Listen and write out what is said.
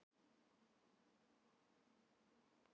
Ljósafoss niður Esjuna